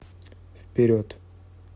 вперед